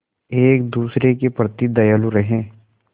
एक दूसरे के प्रति दयालु रहें